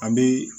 An bɛ